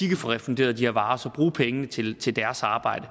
kan få refunderet de her så bruge pengene til til deres arbejde